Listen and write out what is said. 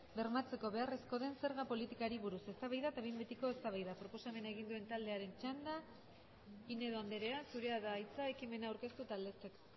bermatzeko beharrezkoa den zerga politikari buruz eztabaida eta behin betiko ebazpena proposamen egin duen taldearen txanda pinedo anderea zurea da hitza ekimena aurkeztu eta aldezteko